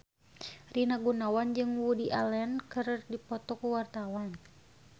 Rina Gunawan jeung Woody Allen keur dipoto ku wartawan